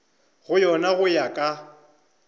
go yona go ya ka